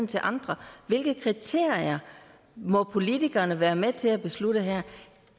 til andre hvilke kriterier må politikerne være med til at beslutte her